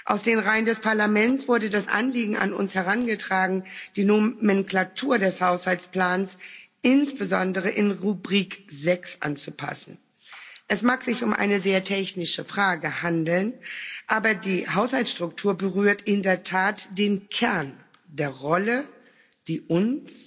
Aus den Reihen des Parlaments wurde das Anliegen an uns herangetragen, die Nomenklatur des Haushaltsplans, insbesondere in Rubrik 6 anzupassen. Es mag sich um eine sehr technische Frage handeln, aber die Haushaltsstruktur berührt in der Tat den Kern der Rolle, die uns,